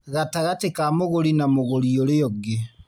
gatagatĩ ka mũgũri na mũgũri ũrĩa ũngĩ